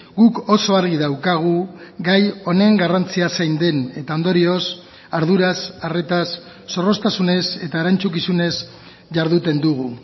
guk oso argi daukagu gai honen garrantzia zein den eta ondorioz arduraz arretaz zorroztasunez eta erantzukizunez jarduten dugu